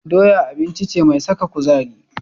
Doya abinci ce mai saka kuzari.